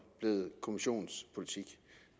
blevet kommissionens politik